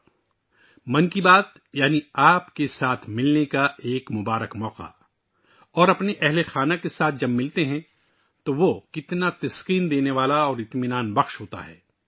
'من کی بات' کا مطلب ہے آپ سے ملنے کا ایک اچھا موقع، اور جب آپ اپنے خاندان کے افراد سے ملتے ہیں، تو یہ بہت خوش کن... بہت اطمینان بخش ہوتا ہے